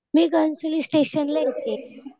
मी घणसोली स्टेशनला येते.